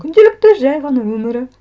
күнделікті жай ғана өмірі